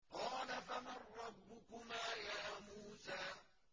قَالَ فَمَن رَّبُّكُمَا يَا مُوسَىٰ